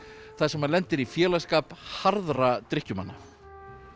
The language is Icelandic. þar sem hann lendir í félagsskap harðra drykkjumanna